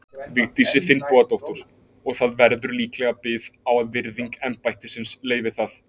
Vigdísi Finnbogadóttur, og það verður líklega bið á að virðing embættisins leyfi það.